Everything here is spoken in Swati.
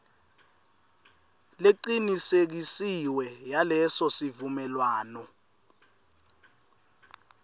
lecinisekisiwe yaleso sivumelwano